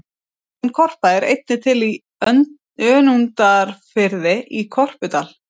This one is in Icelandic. Áin Korpa er einnig til í Önundarfirði, í Korpudal.